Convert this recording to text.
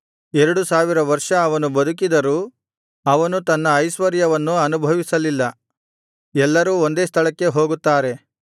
ಎರಡು ಸಾವಿರ ವರ್ಷ ಅವನು ಬದುಕಿದರೂ ಅವನು ತನ್ನ ಐಶ್ವರ್ಯವನ್ನು ಅನುಭವಿಸಲಿಲ್ಲ ಎಲ್ಲರೂ ಒಂದೇ ಸ್ಥಳಕ್ಕೆ ಹೋಗುತ್ತಾರೆ